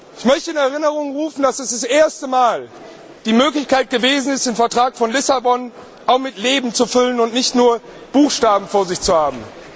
Ich möchte in Erinnerung rufen, dass dies zum ersten Mal eine Möglichkeit gewesen ist, den Vertrag von Lissabon mit Leben zu füllen und nicht nur Buchstaben vor sich zu haben.